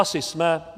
Asi jsme.